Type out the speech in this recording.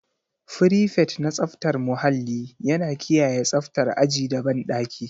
Frifet na tsaftar muhalli yana kiyaye tsaftar aji da banɗaki.